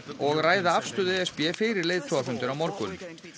og ræða afstöðu e s b fyrir leiðtogafundinn á morgun